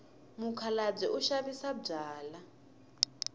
mukhalabye u xavisa byalwa